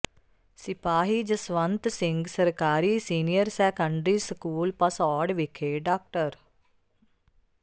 ਸਿਪਾਹੀ ਜਸਵੰਤ ਸਿੰਘ ਸਰਕਾਰੀ senior secondary school Bhasaur ਵਿਖੇ ਡਾ